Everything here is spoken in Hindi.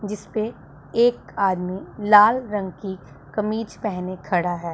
जिस पे एक आदमी लाल रंग की कमीज पहने खड़ा है।